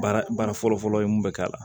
Baara baara fɔlɔ-fɔlɔ ye mun bɛ k'a la